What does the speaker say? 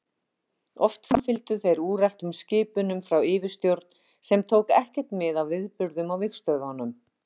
Oft framfylgdu þeir úreltum skipunum frá yfirstjórn sem tók ekkert mið af atburðum á vígstöðvunum.